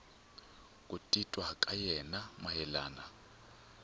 ku titwa ka yena mayelana